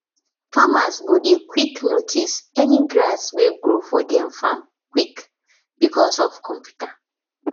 farmers go dey quick notice any grass wey grow for dem farm quick because of computer